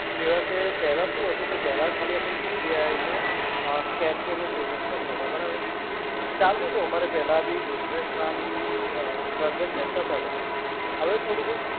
જેવાં કે પહેલા શું હતું કે પહેલા ખાલી અમે યુપીઆઈ ને અ સ્કેનથી અમે પેમેન્ટ કરતાં હતાં, બરાબર? તો ચાલતું હતું અમારે પહેલા બી બિજનેસમાં બી અ ટ્રાન્જેક્શન થતાં હતાં. હવે થોડું ક